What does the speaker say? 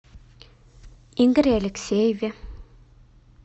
игоре алексееве